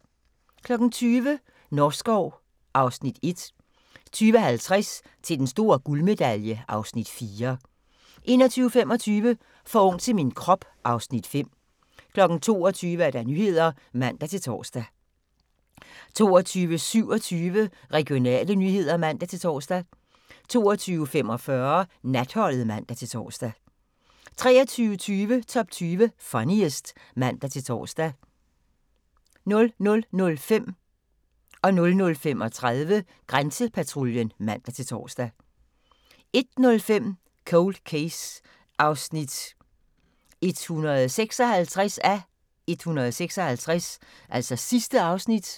20:00: Norskov (Afs. 1) 20:50: Til den store guldmedalje (Afs. 4) 21:25: For ung til min krop (Afs. 5) 22:00: Nyhederne (man-tor) 22:27: Regionale nyheder (man-tor) 22:45: Natholdet (man-tor) 23:20: Top 20 Funniest (man-tor) 00:05: Grænsepatruljen (man-tor) 00:35: Grænsepatruljen (man-tor) 01:05: Cold Case (156:156)